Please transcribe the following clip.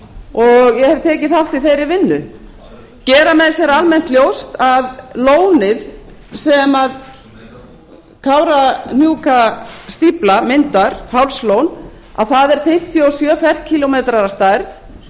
og ég hef tekið þátt í þeirri vinnu gera menn sér almennt ljóst að lónið sem kárahnjúkastífla myndar hálslón að það er fimmtíu og sjö ferkílómetrar að stærð